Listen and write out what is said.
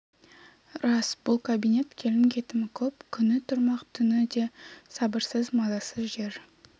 рас бұл кабинет келім-кетімі көп күні тұрмақ түні де сабырсыз мазасыз жер